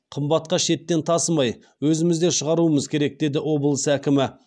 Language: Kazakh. қымбатқа шеттен тасымай өзімізде шығаруымыз керек деді облыс әкімі